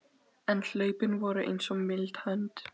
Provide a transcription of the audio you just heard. En hlaupin voru eins og mild hönd